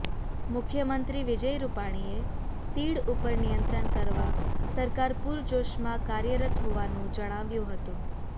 મુખ્યમંત્રી વિજય રૂપાણીએ તીડ ઉપર નિયંત્રણ કરવા સરકાર પુરજોશમાં કાર્યરત હોવાનું જણાવ્યું હતું